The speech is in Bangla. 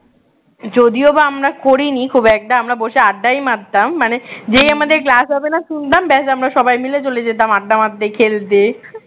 যদিও বা আমরা করিনি খুব একটা আমরা বসে আড্ডাই মারতাম মানে যে আমাদের class হবে না শুনতাম ব্যস আমরা সবাই মিলে চলে যেতাম আড্ডা মারতে, খেলতে